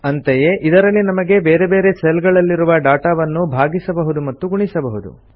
ಅಂತೆಯೇ ಇದರಲ್ಲಿ ನಮಗೆ ಬೇರೆ ಬೇರೆ ಸೆಲ್ ಗಳಲ್ಲಿರುವ ಡಾಟಾವನ್ನು ಭಾಗಿಸಬಹುದು ಮತ್ತು ಗುಣಿಸಬಹುದು